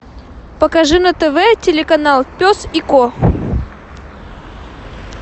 покажи на тв телеканал пес и ко